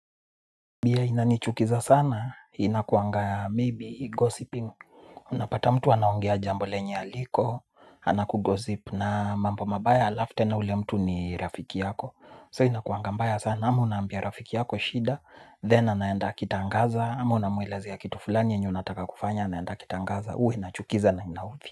Bia inanichukiza sanaa, inakuangaa maybe gossiping unapata mtu anaongea jambo lenye haliko anakugosip na mambo mabaya alafu tena ule mtu ni rafiki yako so inakuanga mbaya sana ama unaambia rafiki yako shida then anaenda akitangaza ama unamuelezea kitu fulani yenye unataka kufanya then anaenda akitangaza huwa inachukiza na inaudhi.